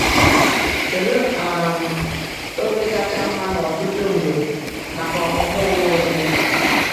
Kedu um oge kacha mma n’ọtụtụ mgbe maka ọmụmụ onwe onye?